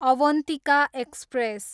Avantika express